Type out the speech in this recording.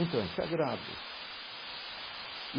Então é sagrado e.